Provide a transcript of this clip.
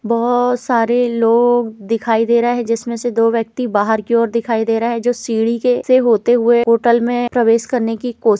बहोत सारे लोग दिखाई दे रहा है जिसमें से दो व्यक्ति बाहर की ओर दिखाई दे रहा है जो सीढ़ी के से होते हुए होटल में प्रवेश करने की कोशि --